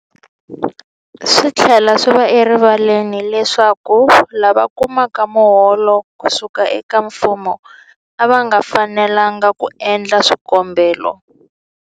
Swi tlhela swi va erivaleni leswaku lava kumaka miholo ku suka eka mfumo a va fanelanga ku endla swikombelo.